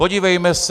Podívejme se...